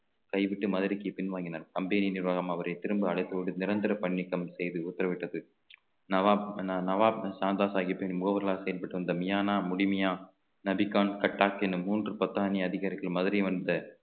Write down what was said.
கைதிக்கு மதுரைக்கு பின்வாங்கினார் company நிர்வாகம் அவரை திரும்ப அழைத்து விட்டு நிரந்தர பணி நீக்கம் செய்து உத்தரவிட்டது நவாப் நவாப் சாந்தா சாகிப்பின் செயல்பட்டு வந்த மியானா முழுமையா நபி கான் என மூன்று பத்தானி அதிகாரிகள் மதுரை வந்த